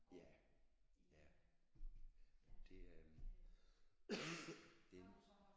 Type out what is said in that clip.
Ja ja det øh det en